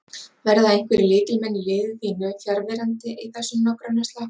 Verða einhverjir lykilmenn í liði þínu fjarverandi í þessum nágrannaslag?